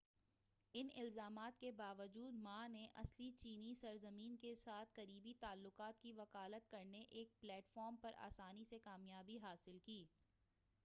ان الزامات کے باوجود ما نے اصل چینی سرزمین کے ساتھ قریبی تعلقات کی وکالت کرنے والے ایک پلیٹ فارم پر آسانی سے کامیابی حاصل کی